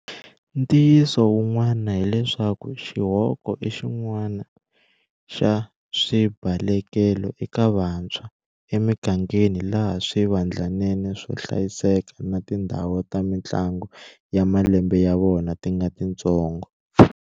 Ntiyiso wun'wani hileswaku xihoko i xin'wana xa swibalekelo eka vantshwa emigangeni laha swivandlanene swo hlayiseka na tindhawu ta mitlangu ya malembe ya vona ti nga titsongo.